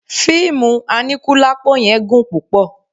Fíìmù aníkúlápó yẹn gùn púpọ̀